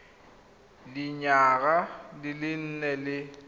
dinyaga di le nne le